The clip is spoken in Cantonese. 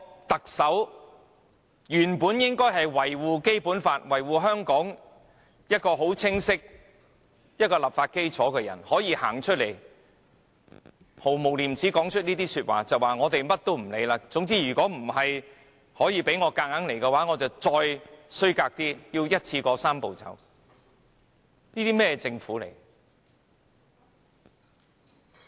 特首本應是維護《基本法》和香港清晰立法基礎的人，如今卻毫無廉耻地說出這番話，說他們甚麼也不管，如果無法強行通過，他們便會使出更卑劣的手段，一口氣完成"三步走"。